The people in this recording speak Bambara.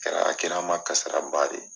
Kɛra a kɛra n ma kasara ba de ye.